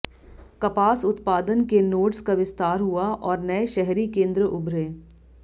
कपास उत्पादन के नोड्स का विस्तार हुआ और नए शहरी केंद्र उभरे